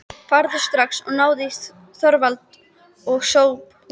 Farðu strax og náðu í Þorvald og Sophus.